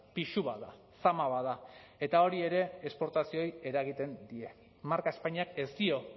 pisu bat da zama bat da eta hori ere esportazioei eragiten die marka espainiak ez dio